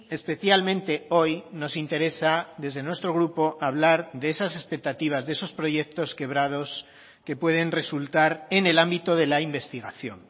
especialmente hoy nos interesa desde nuestro grupo hablar de esas expectativas de esos proyectos cebrados que pueden resultar en el ámbito de la investigación